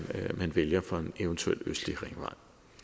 vælger for en eventuel østlig ringvej